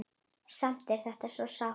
Samt er þetta svo sárt.